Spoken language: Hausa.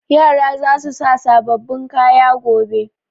Yara za su sa sababbin kaya gobe.